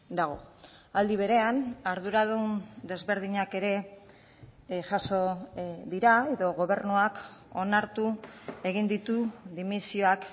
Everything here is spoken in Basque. dago aldi berean arduradun desberdinak ere jaso dira edo gobernuak onartu egin ditu dimisioak